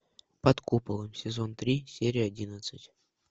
под куполом сезон три серия одиннадцать